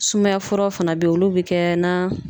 Sumaya furaw fana be yen, olu be kɛ na